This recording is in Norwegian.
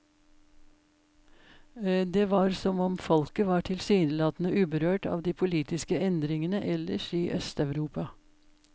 Det var som om folket var tilsynelatende uberørt av de politiske endringene ellers i østeuropa.